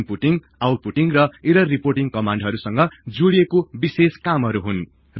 inputting outputting र error reporting कमान्डहरु संग जोडिएको विशेष कामहरु हुन्